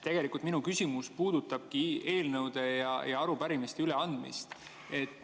Tegelikult minu küsimus puudutabki eelnõude ja arupärimiste üleandmist.